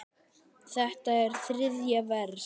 Þetta er þriðja vers.